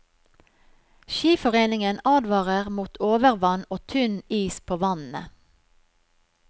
Skiforeningen advarer mot overvann og tynn is på vannene.